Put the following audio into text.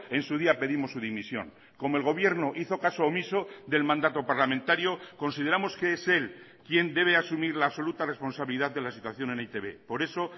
en su día pedimos su dimisión como el gobierno hizo caso omiso del mandato parlamentario consideramos que es él quien debe asumir la absoluta responsabilidad de la situación en e i te be por eso